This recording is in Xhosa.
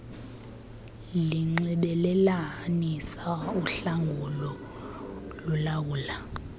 linxibelelanisa uhlangulo lulawula